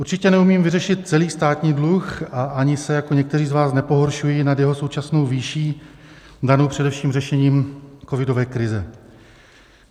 Určitě neumím vyřešit celý státní dluh a ani se jako někteří z vás nepohoršuji nad jeho současnou výší danou především řešením covidové krize.